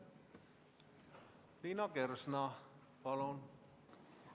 Liina Kersna, palun!